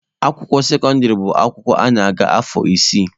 Akwụkwọ sekọndịrị bụ akwụkwọ a na-agụ afọ isii.